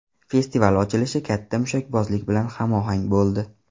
Festival ochilishi katta mushakbozlik bilan hamohang bo‘ldi .